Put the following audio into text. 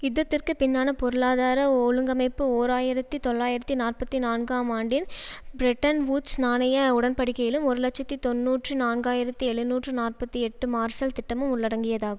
யுத்தத்திற்கு பின்னான பொருளாதார ஒழுங்கமைப்பு ஓர் ஆயிரத்தி தொள்ளாயிரத்தி நாற்பத்தி நான்கு ஆம் ஆண்டின் பிரெட்டன்வூட்ஸ் நாணய உடன்படிக்கையிலும் ஒரு இலட்சத்தி தொன்னூற்றி நான்காயிரத்தி எழுநூற்று நாற்பத்தி எட்டு மார்சல் திட்டமும் உள்ளடங்கியதாகு